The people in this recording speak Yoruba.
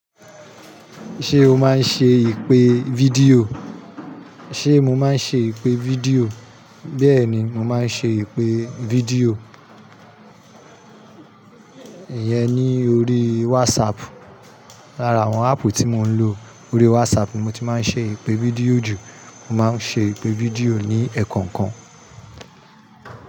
Ṣé o máa ń ṣe ìpè fídíò? Ṣé mo máa ń ṣe ìpè fídíò? Bẹ́ẹ̀ni, mo máa ń ṣe ìpè fídíò. Ìyẹn ni orí WhatsApp. Lára àwọn áàpù tí mo ń lò, orí WhatsApp ni mo ti máa ń ṣe ìpè fídíò jù. Mo máa ń ṣe ìpè fídíò ní ẹ̀ẹ̀kọ̀kan.